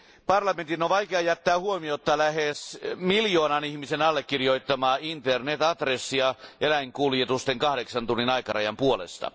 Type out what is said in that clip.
Parlamentin on vaikea jättää huomiotta lähes miljoonan ihmisen allekirjoittamaa Internet adressia eläinkuljetusten kahdeksan tunnin aikarajan puolesta.